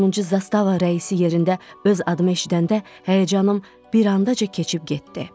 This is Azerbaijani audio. Sonuncu zastava rəisi yerində öz adımı eşidəndə həyəcanım bir ancaq keçib getdi.